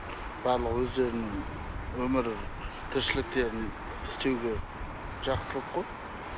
барлығы өздерінің өмір тіршіліктерін істеуге жақсылық қой